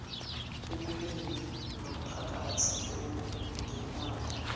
ekubeni nompakathi ongenabo